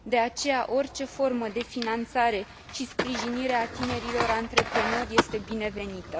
De aceea, orice formă de finanțare și sprijinire a tinerilor antreprenori este binevenită.